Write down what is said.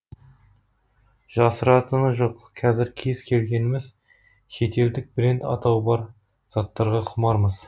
жасыратыны жоқ қазір кез келгеніміз шетелдік бренд атауы бар заттарға құмармыз